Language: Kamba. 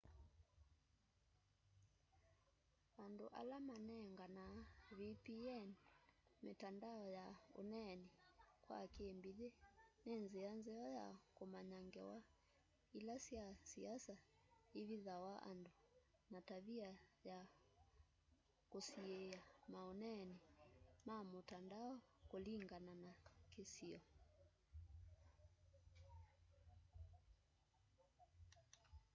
andũ ala manenganaa vpn mitandao ya ũneenĩ kwa kĩmbĩthĩ nĩ nzĩa nzeo ya kũmanya ngewa ila sya siasa ivithawa andũ na tavia ya kũsiĩa maũneenĩ ma mũtandao kũlĩngana na kĩsio